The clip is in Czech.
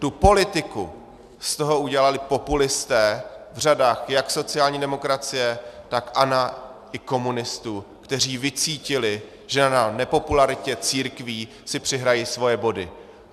Tu politiku z toho udělali populisté v řadách jak sociální demokracie, tak ANO i komunistů, kteří vycítili, že na nepopularitě církví si přihrají svoje body.